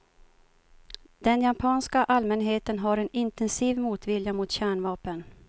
Den japanska allmänheten har en intensiv motvilja mot kärnvapen.